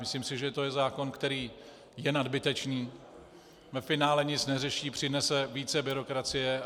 Myslím si, že to je zákon, který je nadbytečný, ve finále nic neřeší, přinese více byrokracie.